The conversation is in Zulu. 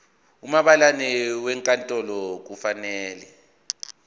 umabhalane wenkantolo kufanele